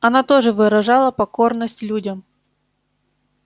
она тоже выражала покорность людям